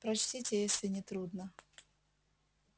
прочтите если не трудно